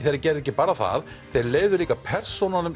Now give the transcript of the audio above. þeir gerðu ekki bara það þeir leyfðu líka persónum